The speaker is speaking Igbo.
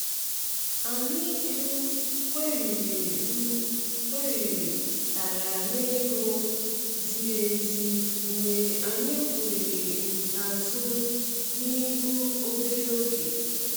Anyị um kwerị um kwerị tara n'ego ziri ezi mgbe anyị kwurịrị um azụ na um ihu obere oge.